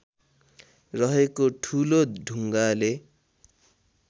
रहेको ठुलो ढुङ्गाले